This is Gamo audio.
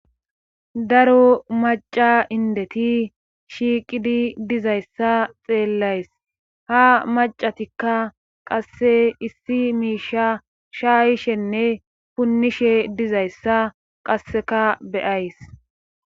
Daro maca indeti shiiqidi dizayssa xeellays ha macatikka qasse issi miisha shaayishenne punnishe dizayssa qasseka beyays